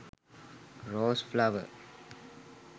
rose flower